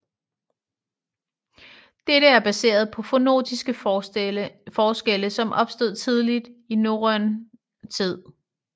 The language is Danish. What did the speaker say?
Dette er baseret på fonologiske forskelle som opstod tidligt i norrøn tid